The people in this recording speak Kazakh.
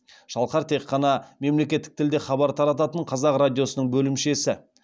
шалқар тек қана мемлекеттік тілде хабар тарататын қазақ радиосының бөлімшесі